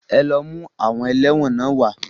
Ẹ lọ mú àwọn ẹlẹ́wọ̀n náà wá.